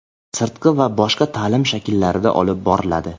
sirtqi va boshqa ta’lim shakllarida olib boriladi.